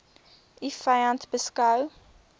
u vyand beskou